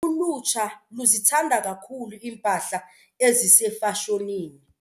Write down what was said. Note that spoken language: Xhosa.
Ulutsha luzithanda kakhulu iimpahla ezisefashonini.